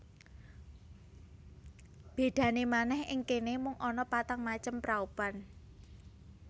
Bedane manèh ing kene mung ana patang macem praupan